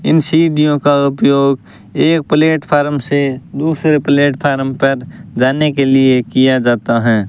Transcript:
इन सीढ़ियों का उपयोग एक प्लेटफार्म से दूसरे प्लेटफार्म पर जाने के लिए किया जाता है।